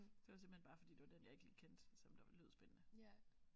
Det var simpelthen bare fordi det var den jeg ikke lige kendte som der lød spændende